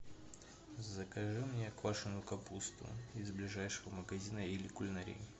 закажи мне квашеную капусту из ближайшего магазина или кулинарии